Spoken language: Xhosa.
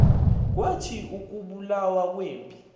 kwathi ukubulawa kwempi